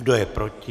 Kdo je proti?